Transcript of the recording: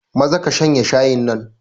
Maza ka shanye shayin nan.